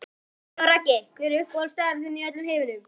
Siggi Raggi Hver er uppáhaldsstaðurinn þinn í öllum heiminum?